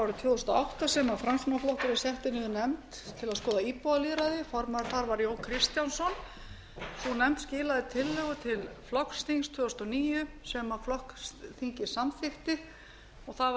árið tvö þúsund og átta sem framsóknarflokkurinn setti niður nefnd til að skoða íbúalýðræði formaður þar var jón kristjánsson sú nefnd skilaði tillögu til flokksþings tvö þúsund og níu sem flokksþingið samþykkti og það